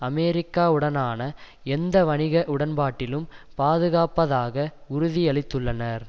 அமெரிக்காவுடனான எந்த வணிக உடன்பாட்டிலும் பாதுகாப்பதாக உறுதியளித்துள்ளனர்